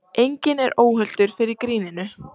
Enginn er óhultur fyrir gríninu